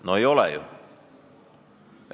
No ei ole ju!